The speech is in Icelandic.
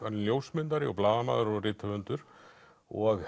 ljósmyndari blaðamaður og rithöfundur og